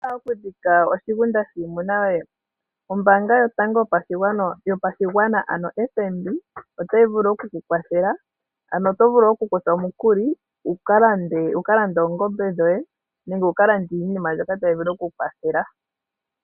Owa hala okudhika oshigunda shiimuna yoye? Ombanga yotango yopashigwana ano oFNB otayi vulu okukukwathela ano oto vulu okukutha omukuli wu kalande oongombe dhoye nenge wu kalande iinima mbyoka tayi vulu okukukwathela.